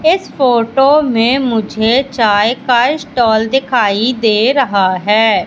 इस फोटो में मुझे चाय का स्टॉल दिखाई दे रहा है।